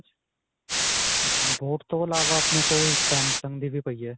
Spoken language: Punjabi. boat ਤੋਂ ਅਲਾਵਾ ਆਪਣੇ ਕੋਲ samsung ਦੀ ਵੀ ਪਈ ਹੈ.